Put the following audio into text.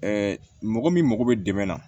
mɔgɔ min mago bɛ dɛmɛ na